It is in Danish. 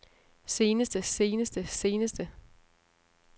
seneste seneste seneste